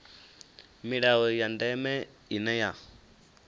milayo ya ndeme ine ya